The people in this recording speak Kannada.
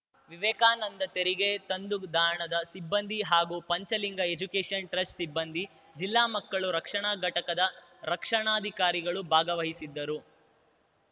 ವಿವೇಕಾನಂದ ತೆರಿಗೆ ತಂಗುದಾಣದ ಸಿಬ್ಬಂದಿ ಹಾಗೂ ಪಂಚಲಿಂಗ ಎಜುಕೇಷನ್‌ ಟ್ರಸ್ಟ್‌ ಸಿಬ್ಬಂದಿ ಜಿಲ್ಲಾ ಮಕ್ಕಳು ರಕ್ಷಣಾ ಘಟಕದ ರಕ್ಷಣಾಧಿಕಾರಿಗಳು ಭಾಗವಹಿಸಿದ್ದರು